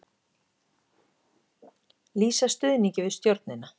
Lýsa stuðningi við stjórnina